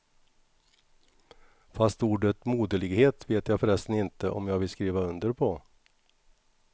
Fast ordet moderlighet vet jag förresten inte om jag vill skriva under på.